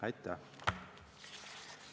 Aitäh!